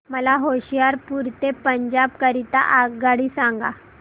मला होशियारपुर ते पंजाब करीता आगगाडी सांगा